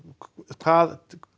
hvað